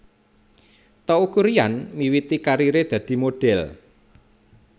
Teuku Ryan miwiti kariré dadi modhél